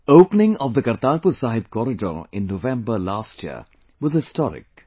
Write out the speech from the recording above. Opening of the Kartarpur Sahib corridor in November last year was historic